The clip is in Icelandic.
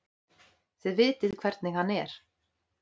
Þið vitið hvernig hann er.